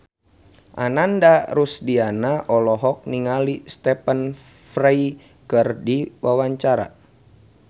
Ananda Rusdiana olohok ningali Stephen Fry keur diwawancara